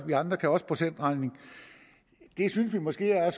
vi andre kan også procentregning og det synes vi måske er